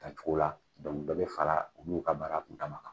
dɔnku dɔ bɛ fara olu ka mara kun dama kan